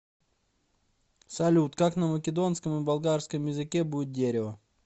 салют как на македонском и болгарском языке будет дерево